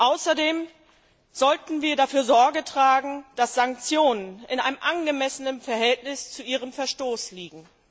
Außerdem sollten wir dafür Sorge tragen, dass Sanktionen in einem angemessenen Verhältnis zu ihrem Verstoß liegen.